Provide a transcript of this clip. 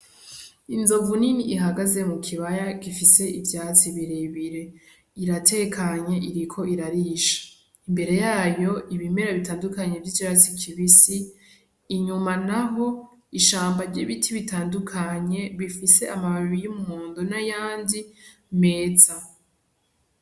Inzovu nini ihagaze mu kibaya gifise ivyatsi birebire . Iratekanye iriko irarisha . Imbere yayo ibimera bitandukanye vy’icatsi kibisi inyuma naho ishamba ry’ibiti bitandukanye bifise amababi y’umuhondo n’ayandi meza.